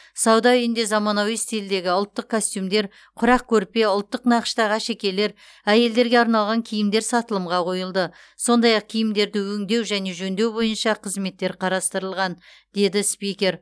сауда үйінде заманауи стильдегі ұлттық костюмдер құрақ көрпе ұлттық нақыштағы әшекейлер әйелдерге арналған киімдер сатылымға қойылды сондай ақ киімдерді өңдеу және жөндеу бойынша қызметтер қарастырылған деді спикер